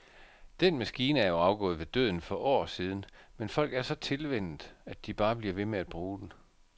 Den maskine er jo afgået ved døden for år siden, men folk er så tilvænnet, at de bare bliver ved med at bruge den.